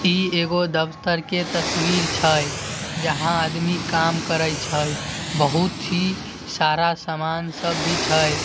इ एगो दफ्तर के तस्वीर छै जहाँ आदमी काम करे छै बहुत ही सारा सामान सब भी छै |